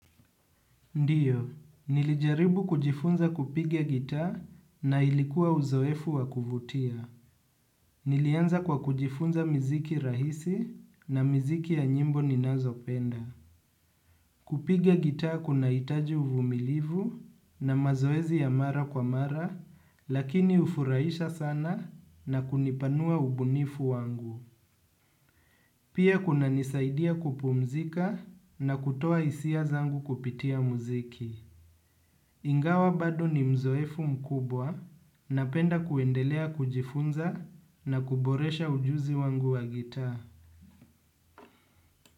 Ndiyo, nilijaribu kujifunza kupiga gitaa na ilikuwa uzoefu wa kuvutia. Nilianza kwa kujifunza mziki rahisi na mziki ya nyimbo ninazo penda. Kupiga gitaa kunahitaji uvumilivu na mazoezi ya mara kwa mara, lakini hufurahisha sana na kunipanua ubunifu wangu. Pia kuna nisaidia kupumzika na kutoa hisia zangu kupitia muziki. Ingawa bado ni uzzoefu mkubwa napenda kuendelea kujifunza na kuboresha ujuzi wangu wa gitaa.